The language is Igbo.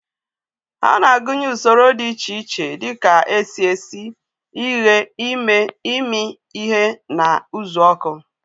Ha na-agụnye usoro dị iche iche dị ka esi esi, ighe, ime, imi ihe na uzuoku.